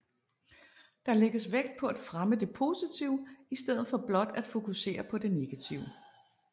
Der lægges vægt på at fremme det positive i stedet for blot at fokusere på det negative